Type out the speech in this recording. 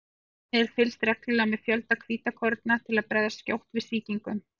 Einnig er fylgst reglulega með fjölda hvítkorna til að bregðast skjótt við sýkingum.